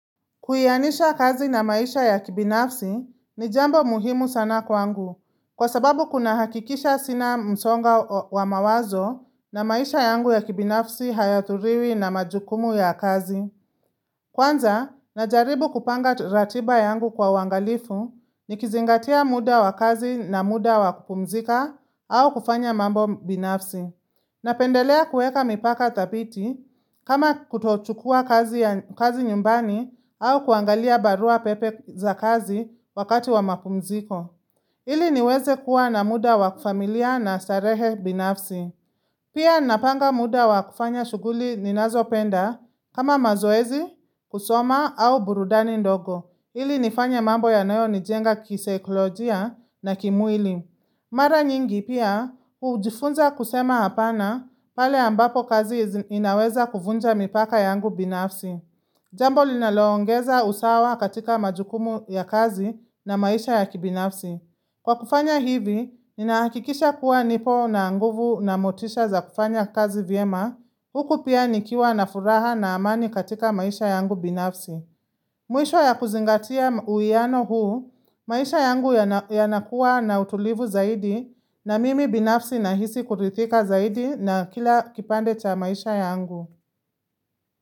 Kuhianisha kazi na maisha ya kibinafsi ni jambo muhimu sana kwangu, kwa sababu kuna hakikisha sina msonga wa mawazo na maisha yangu ya kibinafsi hayathuriwi na majukumu ya kazi. Kwanza, najaribu kupanga ratiba yangu kwa uangalifu ni kizingatia muda wa kazi na muda wa kupumzika au kufanya mambo binafsi. Na pendelea kuweka mipaka thapiti kama kutochukua kazi nyumbani au kuangalia barua pepe za kazi wakati wa mapumziko ili niweze kuwa na muda wakufamilia na starehe binafsi Pia napanga muda wakufanya shuguli ninazo penda kama mazoezi, kusoma au burudani ndogo ili nifanye mambo ya nayo nijenga kiseikolojia na kimwili Mara nyingi pia, ujifunza kusema hapana pale ambapo kazi inaweza kuvunja mipaka yangu binafsi. Jambo linaloongeza usawa katika majukumu ya kazi na maisha ya kibinafsi. Kwa kufanya hivi, ninahakikisha kuwa nipo na nguvu na motisha za kufanya kazi vyema. Huku pia nikiwa na furaha na amani katika maisha yangu binafsi. Mwisho ya kuzingatia uwiano huu, maisha yangu yanakuwa na utulivu zaidi na mimi binafsi na hisi kurithika zaidi na kila kipande cha maisha yangu.